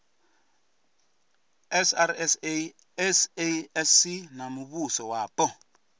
srsa sasc na muvhuso wapo